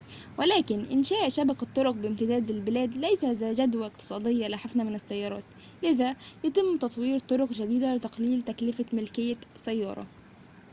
ولكن إنشاء شبكة طرق بامتداد البلاد ليس ذا جدوى اقتصادية لحفنة من السيارات لذا يتم تطوير طرق جديدة لتقليل تكلفة ملكية سيارة